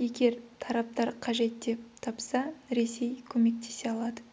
егер тараптар қажет деп тапса ресей көмектесе алады